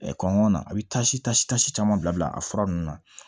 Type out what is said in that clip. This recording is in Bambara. kɔngɔ na a bɛ taa si pasi pasi caman bila a fura ninnu na